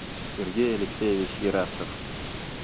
сергей алексеевич ерастов